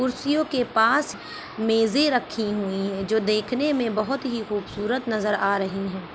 कुर्सियों के पास मेजे रखी हुई है जो देखने में बहुत ही खूबसूरत नजर आ रही है।